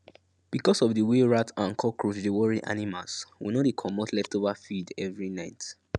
because of the way rat and cockroach dey worry animals we no dey comot leftover feed every night